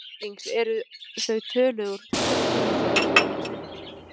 Íslendings eru þau töluð úr timburhúsi eða steinhúsi.